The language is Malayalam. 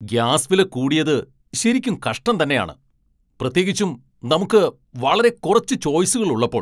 ഗ്യാസ് വില കൂടിയത് ശരിക്കും കഷ്ടം തന്നെയാണ്, പ്രത്യേകിച്ചും നമുക്ക് വളരെ കുറച്ച് ചോയ്സുകൾ ഉള്ളപ്പോൾ.